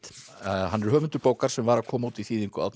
hann er höfundur bókar sem var að koma út í þýðingu Árna